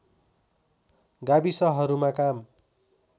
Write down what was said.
गाविस हरूमा काम